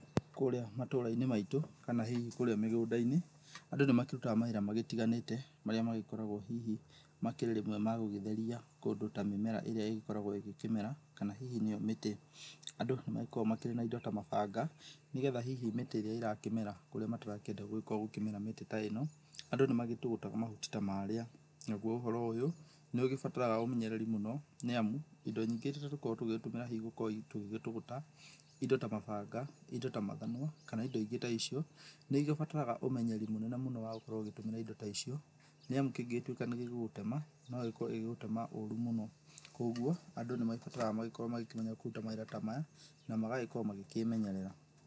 Kũrĩa matũra-inĩ maitũ kana hihi kũrĩa mĩgũnda-inĩ, andũ nĩ makĩrutaga mawĩra magĩtiganĩte marĩa magĩkoragwo hihi makĩrĩrĩmwe magũgĩtheria kũndũ ta mĩmera ĩrĩa ĩgĩkoragwo ĩgĩkĩmera, kana hihi nĩyo mĩtĩ. Andũ nĩ magĩkoragwo makĩrĩ na indo ta mabanga, nĩgetha hihi mĩtĩ ĩrĩa ĩrakĩmera kũrĩa matarakĩenda gũgĩkorwo gũkĩmera mĩtĩ ta ĩno, andũ nĩ magĩtũgũtaga mahuti ta marĩa. Naguo ũhoro ũyũ, nĩ ũgĩbataraga ũmenyereri mũno, nĩ amu, indo nyingĩ iria tũkoragwo tũgĩtũmĩra hihi gũkorwo hihi tũgĩgĩtũgũta, indo ta mabanga, indo ta mathanwa, kana indo ingĩ ta icio, nĩ igĩbataraga ũmenyeri mũnene mũno wa gũkorwo ũgĩtũmĩra indo ta icio. Nĩ amu kĩngĩgĩtuĩka nĩ gĩgũgũtema no gĩkorwo gĩgĩgũtema ũru mũno. Kwoguo, andũ nĩ magĩbataraga magĩkorwo magĩkĩmenya kũruta mawĩra ta maya, na magagĩkorwo magĩkĩĩmenyerera.